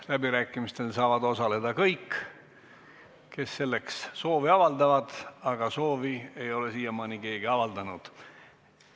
Läbirääkimistel saavad osaleda kõik, kes selleks soovi avaldavad, aga soovi ei ole siiamaani keegi avaldanud.